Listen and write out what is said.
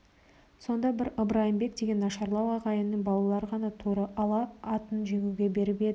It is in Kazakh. сонда бір ыбрайымбек деген нашарлау ағайынның балалары ғана торы ала атын жегуге беріп еді